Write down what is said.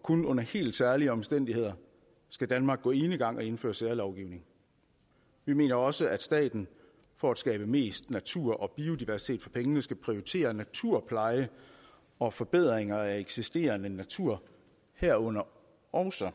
kun under helt særlige omstændigheder skal danmark gå enegang og indføre særlovgivning vi mener også at staten for at skabe mest natur og biodiversitet for pengene skal prioritere naturpleje og forbedringer af eksisterende natur herunder også